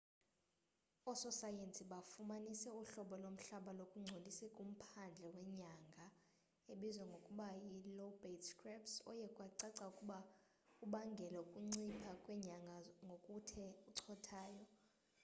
ososayensi bafumanise uhlobo lomhlaba lungcolise kumphandle wenyanga ebizwa ngokuba yi lobate scarps oye kwacaca ukuba ubangele ukuncipha kwenyanga ngokuthe cothayo